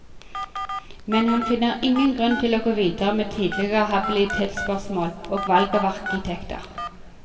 Men han finner ingen grunn til å gå videre med tidligere habilitetsspørsmål og valg av arkitekter.